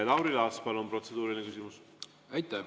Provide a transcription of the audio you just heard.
Lauri Laats, palun, protseduuriline küsimus!